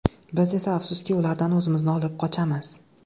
Biz esa, afsuski, ulardan o‘zimizni olib qochamiz.